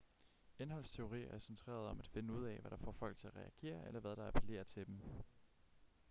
indholdsteorier er centreret om at finde ud af hvad der får folk til at reagere eller hvad der appellerer til dem